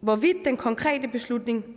hvorvidt den konkrete beslutning